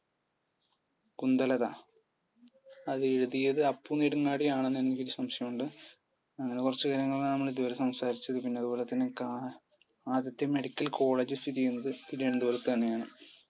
കുന്ദലത അത് എഴുതിയത് അപ്പു നെടുങ്ങാടി ആണെന്ന് എനിക്ക് ഒരു സംശയം ഉണ്ട്. അങ്ങനെ കുറച്ചു കാര്യങ്ങളാണ് നമ്മൾ ഇതുവരെ സംസാരിച്ചത്. പിന്നെ അതുപോലെത്തന്നെ കാ ആദ്യത്തെ medical college സ്ഥിതിചെയ്യുന്നത് തിരുവനന്തപുരത്ത് തന്നെയാണ്